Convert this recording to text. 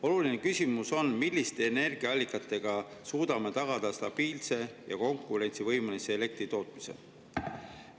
Oluline küsimus on, milliste energiaallikatega suudame tagada stabiilse ja konkurentsivõimelise elektritootmise.